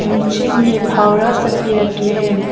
नीचे में फावड़ा सब भी रखे है।